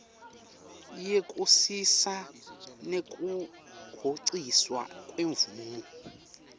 yekusisa nekuhociswa kwemvumo